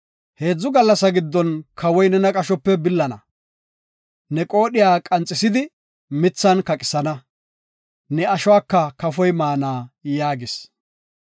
Heedzu gallasa giddon Kawoy nena qashope billana. Ne qoodhiya qanxisidi mithan kaqisana; ne ashuwaka kafoy maana” yaagis.